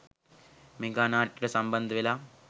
mega නාට්‍යවලට සම්බන්ධ වෙලා